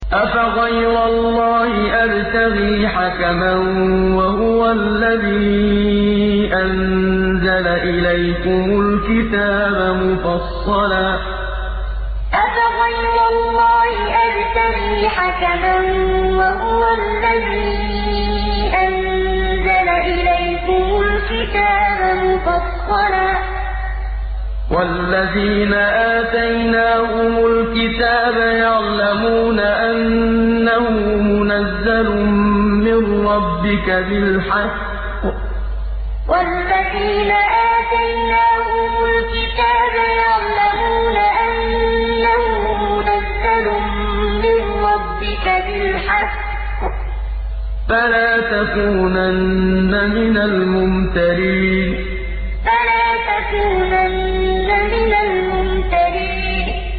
أَفَغَيْرَ اللَّهِ أَبْتَغِي حَكَمًا وَهُوَ الَّذِي أَنزَلَ إِلَيْكُمُ الْكِتَابَ مُفَصَّلًا ۚ وَالَّذِينَ آتَيْنَاهُمُ الْكِتَابَ يَعْلَمُونَ أَنَّهُ مُنَزَّلٌ مِّن رَّبِّكَ بِالْحَقِّ ۖ فَلَا تَكُونَنَّ مِنَ الْمُمْتَرِينَ أَفَغَيْرَ اللَّهِ أَبْتَغِي حَكَمًا وَهُوَ الَّذِي أَنزَلَ إِلَيْكُمُ الْكِتَابَ مُفَصَّلًا ۚ وَالَّذِينَ آتَيْنَاهُمُ الْكِتَابَ يَعْلَمُونَ أَنَّهُ مُنَزَّلٌ مِّن رَّبِّكَ بِالْحَقِّ ۖ فَلَا تَكُونَنَّ مِنَ الْمُمْتَرِينَ